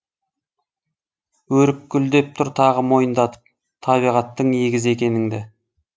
өрік гүлдеп тұр тағы мойындатып табиғаттың егізі екеніңді